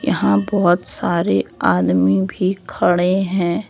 यहां बहोत सारे आदमी भी खड़े हैं।